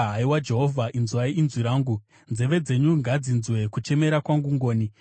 haiwa Jehovha, inzwai inzwi rangu. Nzeve dzenyu ngadzinzwe kuchemera kwangu ngoni.